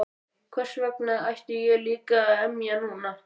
Hversvegna ætti ég líka að emja núna?